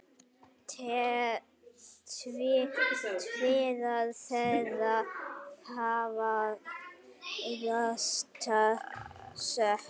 Tveir þeirra hafa játað sök